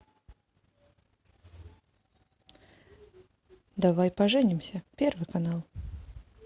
давай поженимся первый канал